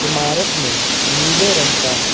इमारत में नीले रंग का--